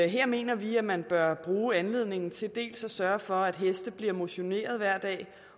her mener vi at man bør bruge anledningen til dels at sørge for at heste bliver motioneret hver dag